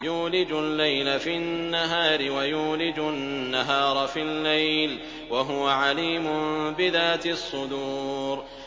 يُولِجُ اللَّيْلَ فِي النَّهَارِ وَيُولِجُ النَّهَارَ فِي اللَّيْلِ ۚ وَهُوَ عَلِيمٌ بِذَاتِ الصُّدُورِ